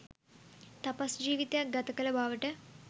තපස් ජිවිතයක් ගත කල බවට